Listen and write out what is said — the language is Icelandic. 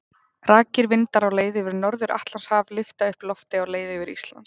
Rakir vindar á leið yfir Norður-Atlantshaf lyfta upp lofti á leið yfir Ísland.